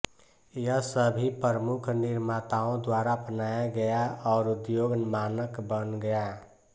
यह सभी प्रमुख निर्माताओं द्वारा अपनाया गया और उद्योग मानक बन गया